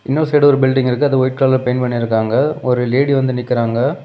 இன்னொரு சைடு ஒரு பில்டிங் இருக்கு அது ஒயிட் கலர்ல பெயிண்ட் பண்ணிருகாங்க ஒரு லேடி வந்து நிக்கிற்றங்க.